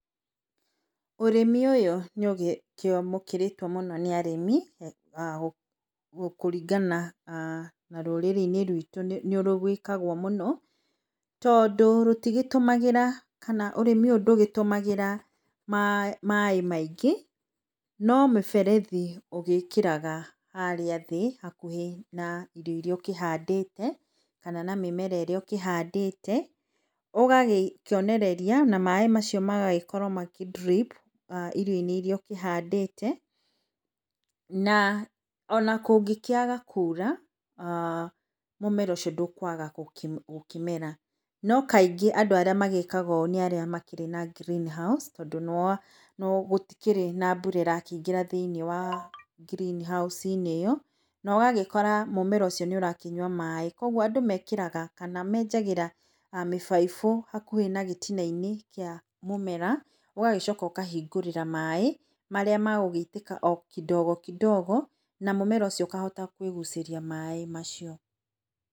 Ũrĩmi ũyũ nĩ ũkĩamũkĩrĩtwo mũno nĩ arĩmi kũringana na rũrĩrĩ-inĩ ruitũ nĩ rwĩkagwo mũno tondũ rũtigĩtũmagĩra kana ũrĩmi ũyũ ndũtũmagĩra maĩ maingĩ, no mĩberethi ũgĩkĩraga harĩa thĩ hakuhĩ na irio iria ũkĩhandĩte kana na mĩmera ĩrĩa ũkĩhandĩte, ũgakĩonereria na maĩ macio magagĩkorwo magakĩ drip irio-inĩ iria ũkĩhandĩte na ona kũngĩkĩaga kura, mũmera ũcio ndũgũkĩaga gũkĩmera. No kaingĩ andũ arĩa magĩkaga ũũ nĩ arĩa makĩrĩ na green house tondũ gũtikĩrĩ na mbura ĩrakĩingĩra thĩiniĩ wa green house inĩ ĩo no gagĩkora mũmera ũcio nĩũrakĩnyua maĩ, kũoguo andũ mekagĩra kana menjagĩra mĩbaibũ hakuhĩ na gĩtina-inĩ kĩa mũmera, ũgagĩcoaka ũgakĩhingũrĩra maĩ marĩa magũgĩitĩka o kidogo kidogo na mũmera ũcio ũkahota kwĩgucĩria maĩ macio.